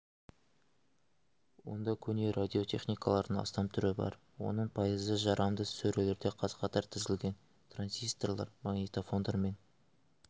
онда көне радиотехникалардың астам түрі бар оның пайызы жарамды сөрелерде қаз-қатар тізілген транзисторлар магнитофондар мен